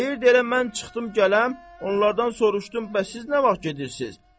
Deyirdi elə mən çıxdım gələm, onlardan soruşdum, bəs siz nə vaxt gedirsiz?